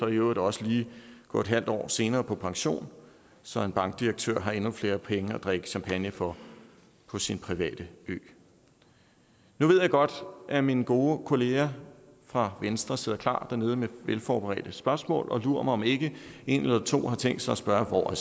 øvrigt også lige gå en halv år senere på pension så en bankdirektør har endnu flere penge at drikke champagne for på sin private ø nu ved jeg godt at mine gode kollegaer fra venstre sidder klar dernede med velforberedte spørgsmål og lur mig om ikke en eller to har tænkt sig at spørge hvor